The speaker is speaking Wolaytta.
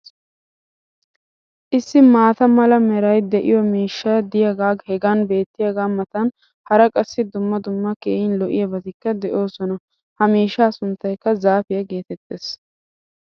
issi maata mala meray de'iyo miishshay diyaagee hagan beetiyaagaa matan hara qassi dumma dumma keehi lo'iyaabatikka de'oosona. ha miishshaa sunttaykka zaafiyaa geetettees.